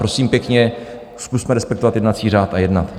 Prosím pěkně, zkusme respektovat jednací řád a jednat.